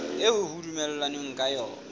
eo ho dumellanweng ka yona